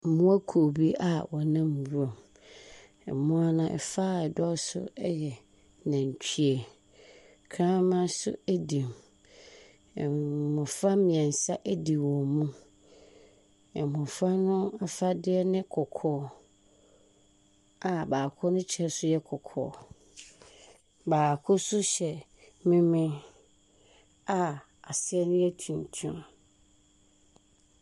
Mmoakuo bi a wɔnam nwura mu, mmoa no fa a ɛdɔɔ so yɛ nantwie, kraman nso di mu, mmɔfra mmiɛnsa di wɔn mu. Mmɔfra no afadeɛ ne kɔkɔɔ a baako ne nso yɛ kɔkɔɔ. Baako nso hyɛ memen a aseɛ no yɛ tuntum.